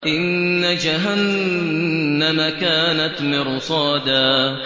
إِنَّ جَهَنَّمَ كَانَتْ مِرْصَادًا